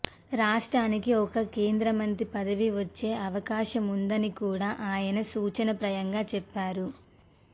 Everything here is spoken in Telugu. రాష్ట్రానికి ఒక కేంద్రమంత్రి పదవి వచ్చే అవకాశముందని కూడా ఆయన సూచనప్రాయంగా చెప్పారు